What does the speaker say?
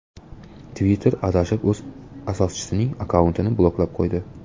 Twitter adashib o‘z asoschisining akkauntini bloklab qo‘ydi .